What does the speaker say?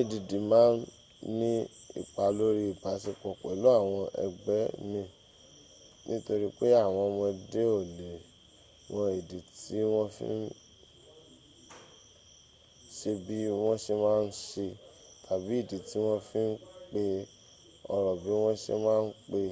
add ma n ní ipá lóri ibasepo pẹ̀lú àwọn ëgbẹ́ min tori pe awon omode o le mo idi ti won fi n se bi won se ma n se tabi idi ti won fi n pe oro bi won se ma n pe